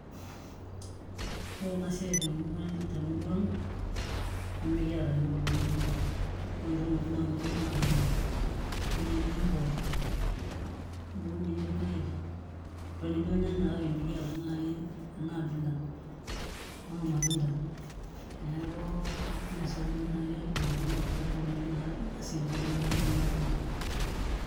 Ore ena siai tenilo ang' nemikiata iyiook kulo matunda ore entoki nikiun iyiook naa entoki nai nijio mpoosho entoki nijio irpaek kake mikiata nai ena abila ekulo matunda mee sapuk duo naai ashu adim atolimu enikunari ena siai naai duo tewuei nanu natii.